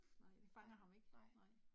Nej, nej